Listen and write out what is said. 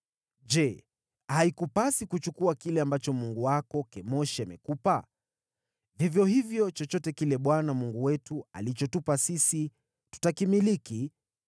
Je, haikupasi kuchukua kile ambacho mungu wako Kemoshi amekupa? Vivyo hivyo, chochote kile Bwana Mungu wetu alichotupa sisi, tutakimiliki.